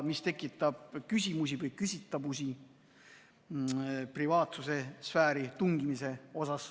See tekitab küsimusi või küsitavusi privaatsuse sfääri tungimise kohta.